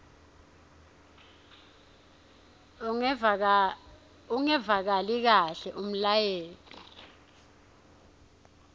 ungevakali kahle umlayeto